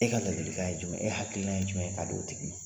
E ka ladilikan ye jumɛ ye e hakilila ye jumɛn ka di o tigi ma?